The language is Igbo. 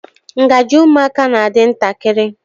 Ngaji ụmụaka na-adị ntakịrị.